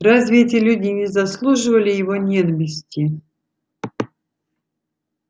разве эти люди не заслуживали его ненависти